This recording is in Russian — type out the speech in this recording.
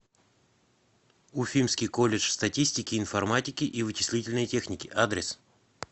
уфимский колледж статистики информатики и вычислительной техники адрес